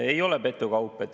Ei ole petukaup.